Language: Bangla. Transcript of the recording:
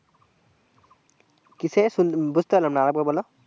কিসের সুন্ বুঝতে পারলাম না আরেকবার বলো